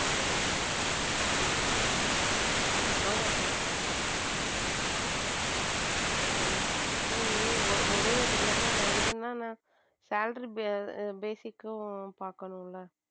நான் try பண்றேன் ஆனா ஒரே இது இல்லாம salary basic பாக்கணும் இல்ல.